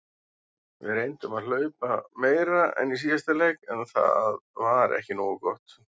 Við reyndum að hlaupa meira en í síðasta leik en það var ekki nógu gott.